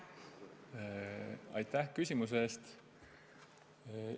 Aitäh küsimuse eest!